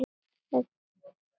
Hún var ellefu ára.